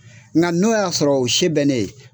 Nka n'o y'a sɔrɔ o se bɛ ne ye